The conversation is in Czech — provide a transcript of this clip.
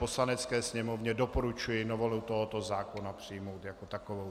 Poslanecké sněmovně doporučuji novelu tohoto zákona přijmout jako takovou.